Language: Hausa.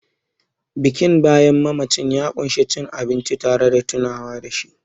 Bikin bayan mamaci ya ƙunshi cin abinci tare da tunawa da shi